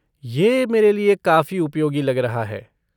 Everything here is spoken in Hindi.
यह मेरे लिए काफी उपयोगी लग रहा है।